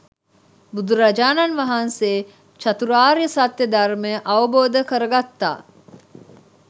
බුදුරජාණන් වහන්සේ චතුරාර්ය සත්‍යය ධර්මය අවබෝධ කරගත්තා.